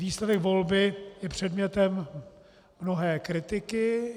Výsledek volby je předmětem mnohé kritiky.